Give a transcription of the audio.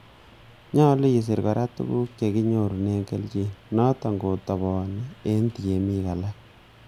Nyolu isir kora tuguk chekinyorunen kelchin, noton kotobonin en tiemik alak.